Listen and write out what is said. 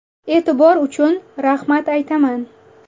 E’tibor uchun rahmat aytaman.